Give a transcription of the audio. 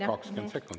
Kakskümmend sekundit!